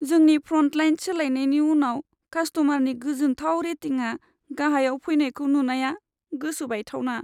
जोंनि फ्र'न्टलाइन सोलायनायनि उनाव कास्ट'मारनि गोजोनथाव रेटिंआ गाहायाव फैनायखौ नुनाया गोसो बायथावना!